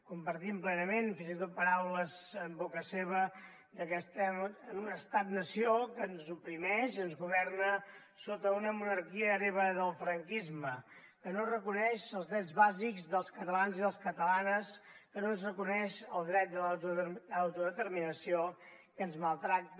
compartim plenament fins i tot paraules en boca seva que estem en un estat nació que ens oprimeix i ens governa sota una monarquia hereva del franquisme que no reconeix els drets bàsics dels catalans i les catalanes que no ens reconeix el dret de l’autodeterminació que ens maltracta